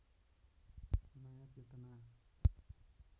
नयाँ चेतना